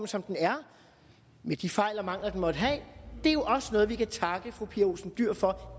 som den er med de fejl og mangler den måtte have er jo også noget vi kan takke fru pia olsen dyhr for